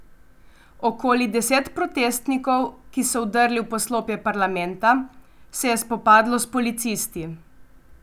Okoli deset protestnikov, ki so vdrli v poslopje parlamenta, se je spopadlo s policisti.